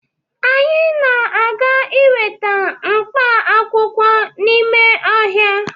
Anyị na-aga iweta mkpaakwụkwọ n'ime ọhịa